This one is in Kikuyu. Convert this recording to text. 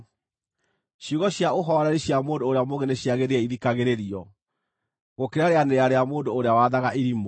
Ciugo cia ũhooreri cia mũndũ ũrĩa mũũgĩ nĩciagĩrĩire ithikagĩrĩrio, gũkĩra rĩanĩrĩra rĩa mũndũ ũrĩa wathaga irimũ.